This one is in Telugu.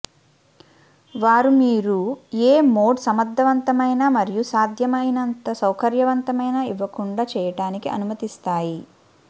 వారు మీరు ఏ మోడ్ సమర్థవంతమైన మరియు సాధ్యమైనంత సౌకర్యవంతమైన ఇవ్వకుండా చేయడానికి అనుమతిస్తాయి